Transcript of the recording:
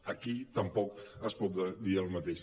aquí tampoc es pot dir el mateix